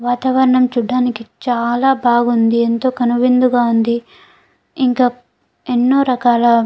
వాతాహవరణం చూడటానికి చాలా బాగుంది ఎంతో కనువిందుగ వుంది ఇంకా ఎన్నో రకాల --